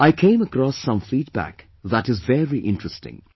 I came across some feedback that is very interesting